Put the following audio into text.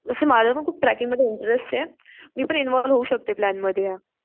तस मला पण खूप ट्रेकिंग मध्ये इंटरेस्ट आहे. मी पण इन्व्हॉल्व होऊ शकते प्लॅन मध्ये या.